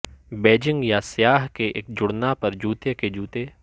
Beijing یا سیاہ کے ایک جڑنا پر جوتے کے جوتے